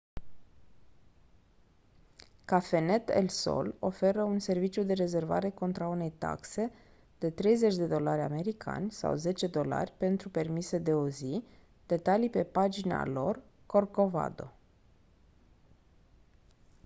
cafenet el sol oferă un serviciu de rezervare contra unei taxe de 30 dolari americani sau 10$ pentru permise de o zi detalii pe pagina lor corcovado